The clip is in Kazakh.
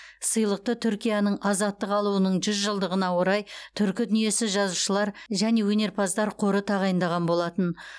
сыйлықты түркияның азаттық алуының жүз жылдығына орай түркі дүниесі жазушылар және өнерпаздар қоры тағайындаған болатын